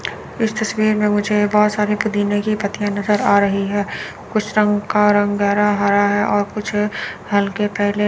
इस तस्वीर में मुझे बहोत सारे पुदीने की पत्तियां नजर आ रही हैं कुछ रंग का रंग गहरा हरा है और कुछ हल्के पीले--